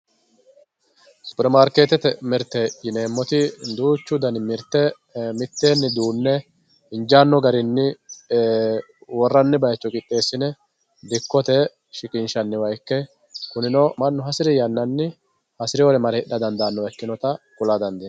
superimaarokeetete mirte yineemoti duuchu dani mirte miteenni duune injaanno garinni worranni bayiicho qidheesine dikkote shiqinshshanniwa ikke kunino mannu hasiri yannanni hasiriyoore mare hidha dandaanowa ikkinota kula dandiinayi.